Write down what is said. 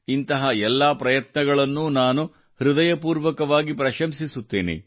ಇಂತಹ ಎಲ್ಲ ಪ್ರಯತ್ನಗಳನ್ನೂ ನಾನು ಹೃದಯಪೂರ್ವಕವಾಗಿ ಪ್ರಶಂಸಿಸುತ್ತೇನೆ